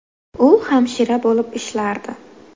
U hamshira bo‘lib ishlardi.